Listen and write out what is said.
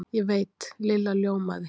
Ég veit Lilla ljómaði.